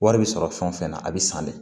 Wari bɛ sɔrɔ fɛn o fɛn na a bɛ san dɛ